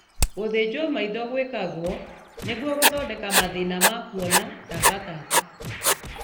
Gũthĩnjwo maitho gwĩkagwo nĩguo gũthondeka mathĩna ma kuona ta mbatata